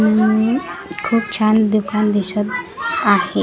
खूप छान दुकान दिसत आहे.